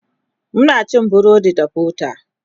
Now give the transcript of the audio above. Muna cin burodi da butter